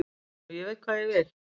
Og ég veit hvað ég vil.